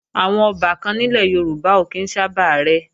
Àwọn ọbàkan nílẹ̀ Yorùbá ò kí ń sábà rẹ́